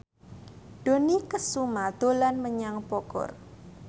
Dony Kesuma dolan menyang Bogor